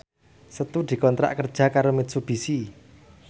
Setu dikontrak kerja karo Mitsubishi